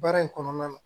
Baara in kɔnɔna na